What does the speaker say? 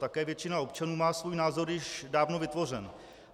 Také většina občanů má svůj názor již dávno vytvořený.